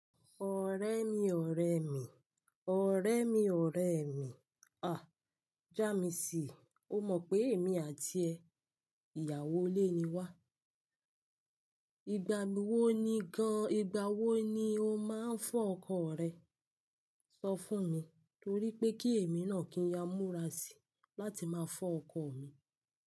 Ọ̀rẹ́ mi, ọ̀rẹ́ mi, ọ̀rẹ́ mi, ọ̀rẹ́ mi, a! Já mi síi, o mọ pé èmi àti ẹ ìyàwó ilé ni wa. Ìgbà wo ni gan-an ìgbà wo ni o máa ń fo ọkọ rẹ, sọ fún mi torí pé kí èmi náà kí n ya múra síi láti máa fọ ọkọ mi.